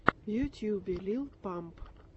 в ютьюбе лил памп